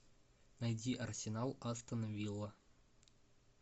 найди арсенал астон вилла